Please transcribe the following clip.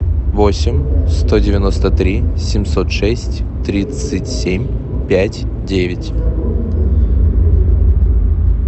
восемь сто девяносто три семьсот шесть тридцать семь пять девять